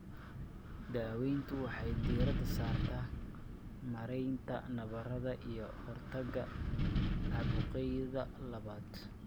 Daaweyntu waxay diiradda saartaa maaraynta nabarrada iyo ka hortagga caabuqyada labaad.